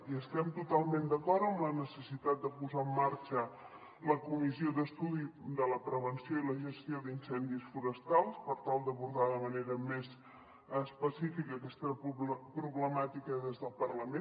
i estem totalment d’acord amb la necessitat de posar en marxa la comissió d’estudi de la prevenció i la gestió d’incendis forestals per tal d’abordar de manera més específica aquesta problemàtica des del parlament